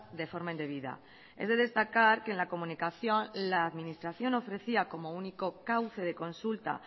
de forma indebida es de destacar que en la comunicación la administración ofrecía como único cauce de consulta